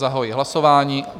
Zahajuji hlasování.